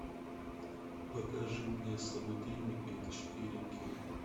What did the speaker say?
покажи мне собутыльники четыре кей